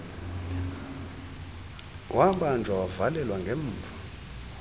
wabanjwa wavalelwa ngemva